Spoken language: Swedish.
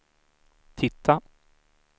titta